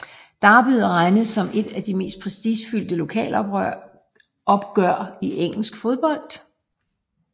Derbyet regnes som et af de mest prestigefyldte lokalopgør i engelsk fodbold